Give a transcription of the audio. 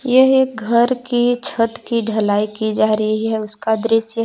यह एक घर की छत की ढलाई की जा रही है उसका दृश्य--